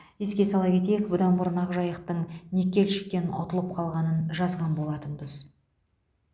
еске сала кетейік бұдан бұрын ақжайықтың никельщиктен ұтылып қалғанын жазған болатынбыз